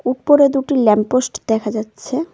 উপরে দুটি lamp post দেখা যাচ্ছে।